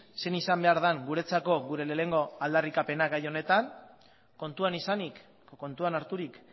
zein izan behar den guretzako gure lehenengo aldarrikapena gaia honetan kontuan izanik kontuan harturik